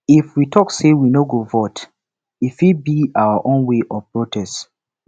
if we talk say we no go vote e fit be our own way of protest